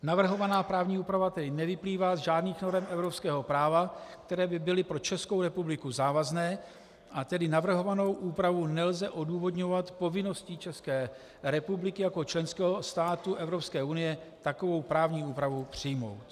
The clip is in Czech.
Navrhovaná právní úprava tedy nevyplývá z žádných norem evropského práva, které by byly pro Českou republiku závazné, a tedy navrhovanou úpravu nelze odůvodňovat povinností České republiky jako členského státu Evropské unie, takovou právní úpravu přijmout.